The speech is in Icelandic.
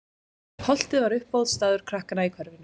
Holtið var uppáhaldsstaður krakkanna í hverfinu.